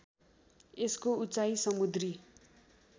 यसको उचाइ समुद्री